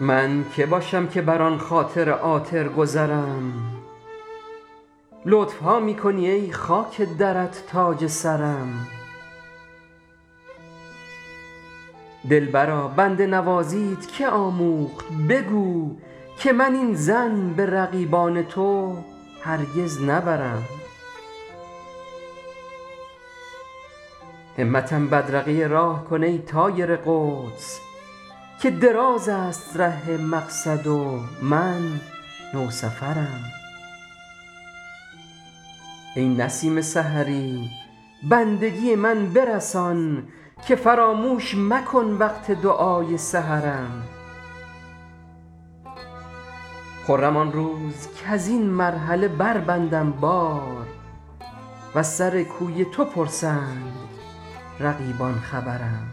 من که باشم که بر آن خاطر عاطر گذرم لطف ها می کنی ای خاک درت تاج سرم دلبرا بنده نوازیت که آموخت بگو که من این ظن به رقیبان تو هرگز نبرم همتم بدرقه راه کن ای طایر قدس که دراز است ره مقصد و من نوسفرم ای نسیم سحری بندگی من برسان که فراموش مکن وقت دعای سحرم خرم آن روز کز این مرحله بربندم بار و از سر کوی تو پرسند رفیقان خبرم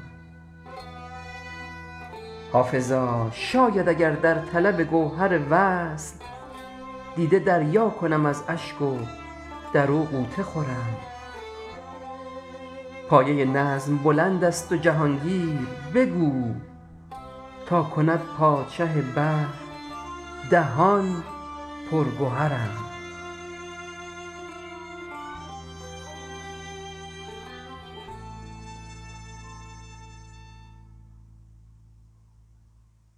حافظا شاید اگر در طلب گوهر وصل دیده دریا کنم از اشک و در او غوطه خورم پایه نظم بلند است و جهان گیر بگو تا کند پادشه بحر دهان پر گهرم